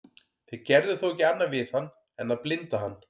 þeir gerðu þó ekki annað við hann en að blinda hann